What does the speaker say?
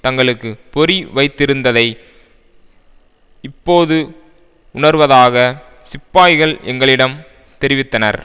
தங்களுக்கு பொறி வைத்திருந்ததை இப்போது உணர்வதாக சிப்பாய்கள் எங்களிடம் தெரிவித்தனர்